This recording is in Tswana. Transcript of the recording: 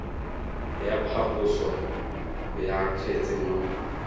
ya phaposo ya kgetse mo